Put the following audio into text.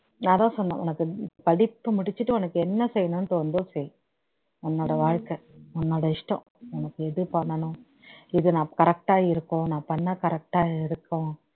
நான் அதான் சொன்னேன் உனக்கு படிப்பு முடிச்சுட்டு உனக்கு என்ன செய்யனும்னு தோணுதோ செய் உன்னோட வாழ்க்கை உன்னோட இஷ்டம் உனக்கு எது பண்ணனும் இது நமக்கு correct ஆ இருக்கும் நான் பண்ணுனா correct ஆ இருக்கும்